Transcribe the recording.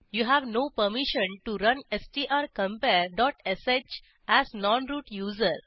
you have no permission to run strcompare dot sh as non root user